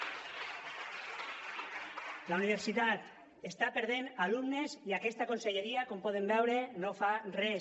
la universitat està perdent alumnes i aquesta conselleria com poden veure no fa res